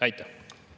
Aitäh!